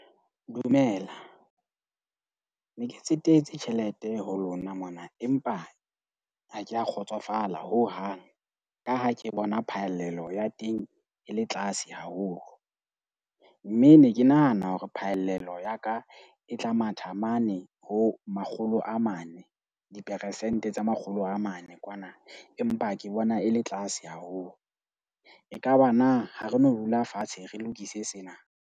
Dumela. Ne ke tsetetse tjhelete ho lona mona, empa ha ke a kgotsofala hohang. Ka ha ke bona phallelo ya teng e le tlase haholo, mme ne ke nahana hore phallelo ya ka e tla matha mane ho makgolo a mane. Dipersente tse makgolo a mane kwana, empa ke bona e le tlase haholo. Ekaba na ha re no dula fatshe, re lokise sena?